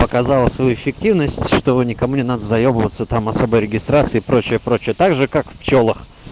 показала свою эффективность чтобы никому не надо заебываться там с особой регистрации прочее прочее так же как пчёлах